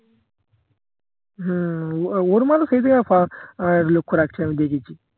হম ওর মালো খেয়ে দিয়ে লক্ষ্য রাখছে আমি দেখেছি